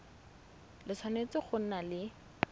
le tshwanetse go nna le